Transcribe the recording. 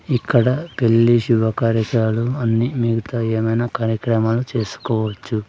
ఇక్కడ పెళ్లి శుభ కార్యక్రాలు అన్ని మిగతా ఏమైనా కార్యక్రమాలు చేసుకోవచ్చు.